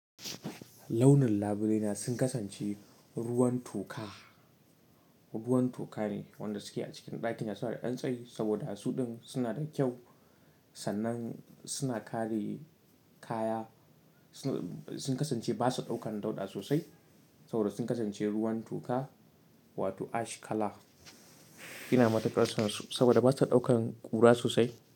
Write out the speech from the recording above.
Launin labule na sun kasance ruwan toka. Ruwan toka ne wanda suke a cikin ɗakina suna da ɗan tsayi, saboda su ɗin suna da kyau sannan suna kare kaya. Sun kasance basa ɗaukan dauɗa sosai saboda sun kasance ruwan toka wato ash color. Ina matuƙar san su saboda basa ɗaukan ƙura sosai.